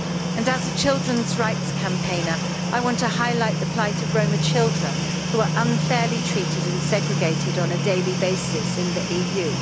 And as a children's rights campaigner, I want to highlight the plight of Roma children, who are unfairly treated and segregated on a daily basis in the EU.